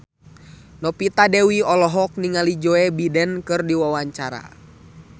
Novita Dewi olohok ningali Joe Biden keur diwawancara